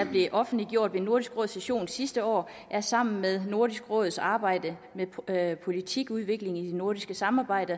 blev offentliggjort ved nordisk råds session sidste år er sammen med nordisk råds arbejde med politikudvikling i det nordiske samarbejde